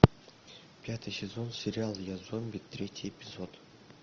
пятый сезон сериал я зомби третий эпизод